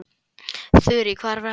Þurí, hvað er að frétta?